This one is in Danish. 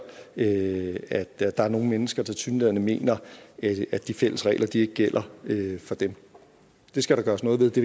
at der er nogle mennesker der tilsyneladende mener at de fælles regler ikke gælder for dem det skal der gøres noget ved det